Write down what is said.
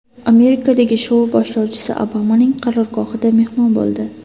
Amerikadagi shou boshlovchisi Obamaning qarorgohida mehmon bo‘ldi.